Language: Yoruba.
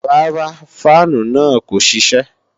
Rárá, fáànù náà kò ṣiṣẹ́